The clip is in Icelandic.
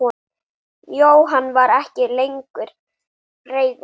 Jóhann var ekki lengur reiður.